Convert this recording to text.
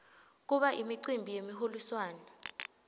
kuba imicimbi yemiholiswano